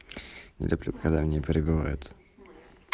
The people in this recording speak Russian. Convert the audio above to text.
не люблю когда меня перебивают